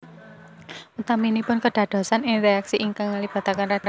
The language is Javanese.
Utaminipun kedadosan ing reaksi ingkang ngelibataken radikal